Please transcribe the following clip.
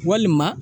Walima